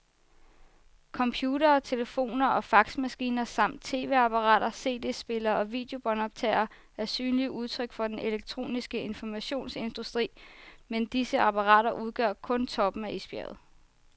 Computere, telefoner og faxmaskiner samt tv-apparater, cd-spillere og videobåndoptagere er synlige udtryk for den elektroniske informationsindustri, men disse apparater udgør kun toppen af isbjerget.